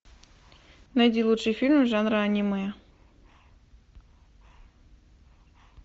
найди лучший фильм жанра аниме